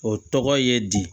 O tɔgɔ ye di